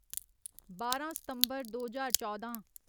बारां सितम्बर दो ज्हार चौदां